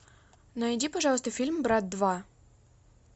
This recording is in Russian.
найди пожалуйста фильм брат два